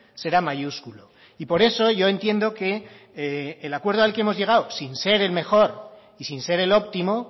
será mayúsculo y por eso yo entiendo que el acuerdo al que hemos llegado sin ser el mejor y sin ser el óptimo